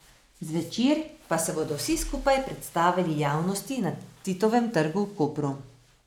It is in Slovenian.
Zvečer pa se bodo vsi skupaj predstavili javnosti na Titovem trgu v Kopru.